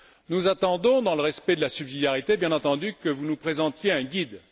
Nous attendons, dans le respect de la subsidiarité bien entendu, que vous nous présentiez un guide.